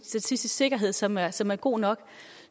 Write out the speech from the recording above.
statistisk sikkerhed som er som er god nok